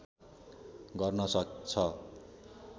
गर्न सक्छ